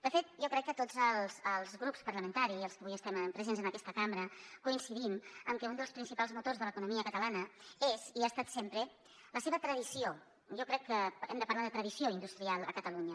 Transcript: de fet jo crec que tots els grups parlamentaris els que avui estem presents en aquesta cambra coincidim en que un dels principals motors de l’economia catalana és i ha estat sempre la seva tradició jo crec que hem de parlar de tradició industrial a catalunya